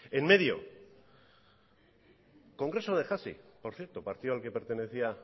en medio congreso de hasi por cierto partido al que pertenecía